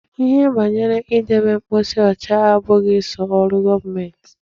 Ihe banyere idebe ebe mposi ọcha abụghị sọ ọrụ gọọmenti.